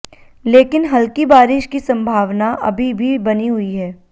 लेकिन हल्की बारिश की संभावना अभी भी बनी हुई है